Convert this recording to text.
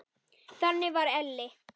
Þannig var Elli.